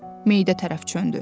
Meyidə tərəf çöndü.